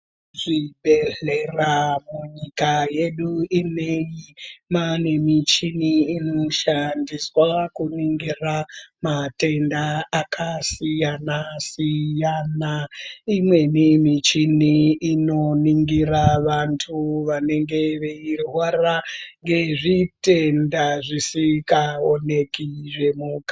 Zvibhedhlera munyika yedu ineyi mwaane muchini inoshandiswa kuningira matenda akasiyana siyana. Imweni michini inoningira vantu vanenge veirwara ngezvitenda zvisingaoneki zvemukati.